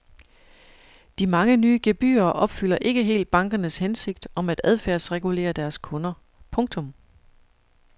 De mange nye gebyrer opfylder ikke helt bankernes hensigt om at adfærdsregulere deres kunder. punktum